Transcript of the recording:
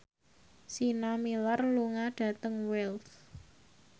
Sienna Miller lunga dhateng Wells